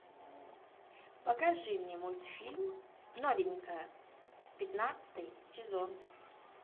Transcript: покажи мне мультфильм новенькая пятнадцатый сезон